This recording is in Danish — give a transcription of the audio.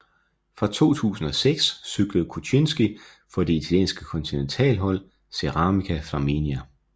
Fra 2006 cyklede Kutjynski for det italienske kontinentalhold Ceramica Flaminia